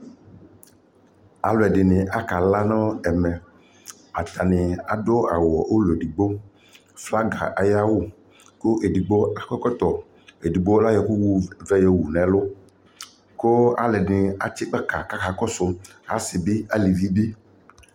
Alʋɛdɩnɩ akala nʋ ɛmɛ Atanɩ adʋ awʋ ʋlɔ edigbo, flaga ayʋ awʋ kʋ edigbo akɔ ɛkɔtɔ Edigbo ayɔ ɛkʋ wu ɛkʋvɛ wu nʋ ɛlʋ kʋ alʋɛdɩnɩ atsɩ gbaka kʋ akakɔsʋ, asɩ bɩ, alevi bɩ